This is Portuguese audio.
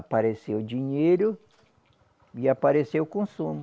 Apareceu o dinheiro e apareceu o consumo.